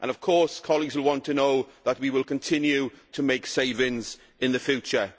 Of course, colleagues will want to know that we will continue to make savings in the future.